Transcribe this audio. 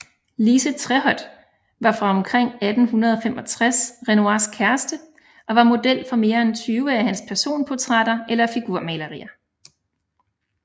Lise Tréhot var fra omkring 1865 Renoirs kæreste og var model for mere end 20 af hans personportrætter eller figurmalerier